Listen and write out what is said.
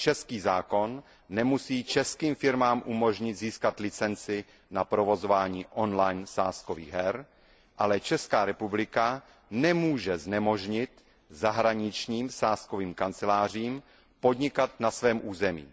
český zákon nemusí českým firmám umožnit získat licenci na provozování on line sázkových her, ale Česká republika nemůže znemožnit zahraničním sázkovým kancelářím podnikat na svém území.